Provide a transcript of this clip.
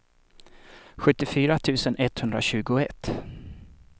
sjuttiofyra tusen etthundratjugoett